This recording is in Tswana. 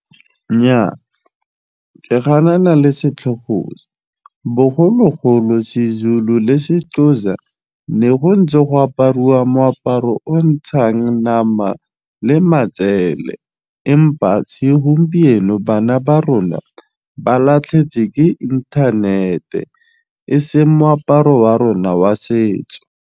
Nnyaa ke ganana le setlhogo se, bogologolo seZulu le seXhosa ne go ntse go apariwa moaparo o ntshang nama le matsele empa segompieno bana ba rona ba ke inthanete e seng moaparo wa rona wa setso.